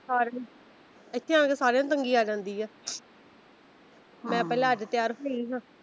ਇੱਥੇ ਆ ਕੇ ਸਾਰਿਆਂ ਨੂੰ ਤੰਗੀ ਆ ਜਾਂਦੀ ਆ ਮੈਂ ਪਹਿਲਾ ਅੱਜ ਤਿਆਰ ਹੋਈ ਹਾਂ।